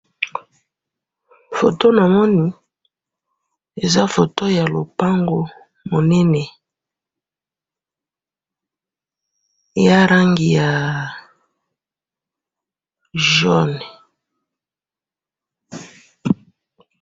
photo namoni eza photo ya lopango munene eza langi ya mosaka